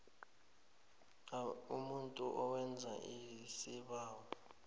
umuntu owenza isibawo